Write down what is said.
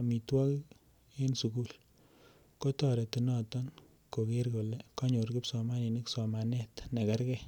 amituogik sugul konaton neyae konyor kibsomaninik somanet nekerke.